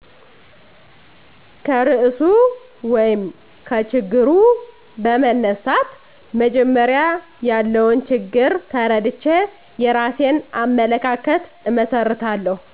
ከርዕሱ ወይም ከችግሩ በመነሳት መጀመሪያ ያለውን ችግር ተረድቼ የራሴን አመለካከት እመሰርታለሁ